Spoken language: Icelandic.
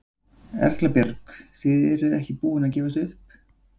Erla Björg: Þið eruð ekki búin að gefast upp?